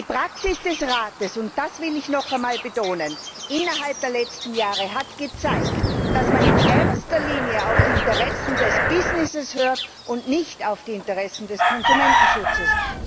Die Praxis des Rates das will ich noch einmal betonen innerhalb der letzten Jahre hat gezeigt, dass man in erster Linie auf die Interessen des Business hört und nicht auf die Interessen des Konsumentenschutzes.